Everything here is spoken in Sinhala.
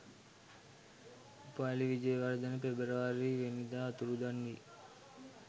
උපාලි විජේවර්ධන පෙබරවාරි වැනි දා අතුරුදන් වී